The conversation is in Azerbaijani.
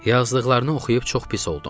Yazdıqlarını oxuyub çox pis oldum.